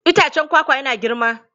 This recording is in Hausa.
Itacen kwakwa yana girma.